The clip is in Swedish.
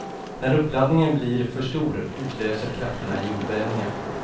När uppladdningen blir för stor utlöser krafterna jordbävningar.